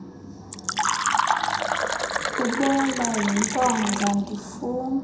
kubola yintonga ndifunga